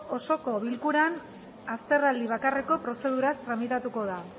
osoko bilkuran azterraldi bakarreko prozeduraz tramitatuko da